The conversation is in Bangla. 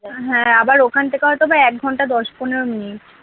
হ্যাঁ আবার ওখান থেকে হয়ত বা একঘন্টা দশ পনেরো minute